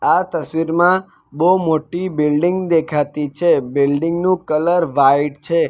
આ તસ્વીરમાં બહુ મોટી બિલ્ડીંગ દેખાતી છે બિલ્ડીંગ નું કલર વાઈટ છે.